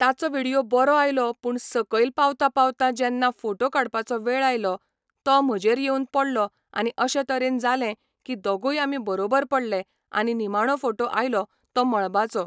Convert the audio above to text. ताचो विडियो बरो आयलो पूण सकयल पावता पावता जेन्ना फोटो काडपाचो वेळ आयलो, तो म्हजेर येवन पडलो आनी अशे तरेन जालें की दोगूय आमी बरोबर पडले आनी निमाणो फोटो आयलो तो मळबाचो.